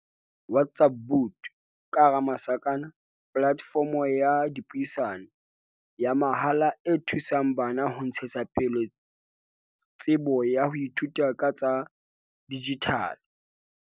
WhatsApp bot, platefomo ya dipuisano, ya mahala e thusang bana ho ntshetsa pele tsebo ya ho ithuta ka tsa dijithale.